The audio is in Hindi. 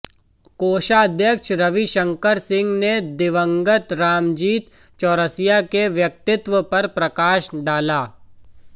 कोषाध्यक्ष रविशंकर सिंह ने दिवंगत रामजीत चौरसिया के व्यक्तित्व पर प्रकाश डाला